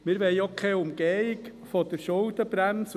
Auch wollen wir keine Umgehung der Schuldenbremse.